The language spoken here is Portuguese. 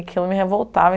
Aquilo me revoltava.